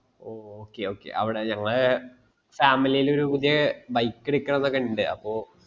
ഓ okay okay അവിടെ ഞങ്ങളെ family ൽ ഒരു പുതിയ bike എടുക്കണമ്ന് ഒക്കെ ഉണ്ട് അപ്പൊ